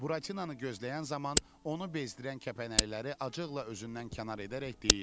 Buratinanı gözləyən zaman onu bezdirən kəpənəkləri acıqla özündən kənar edərək deyirdi: